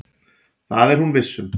Það er hún viss um.